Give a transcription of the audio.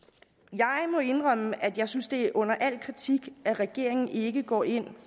jeg må indrømme at jeg synes det er under al kritik at regeringen ikke går ind